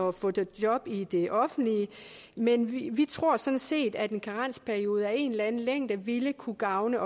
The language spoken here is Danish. at få job job i det offentlige men vi tror sådan set at en karensperiode af en eller anden længde også ville kunne gavne